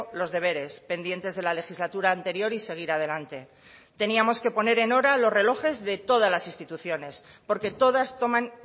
los deberes pendientes de la legislatura anterior y seguir adelante teníamos que poner en hora los relojes de todas las instituciones porque todas toman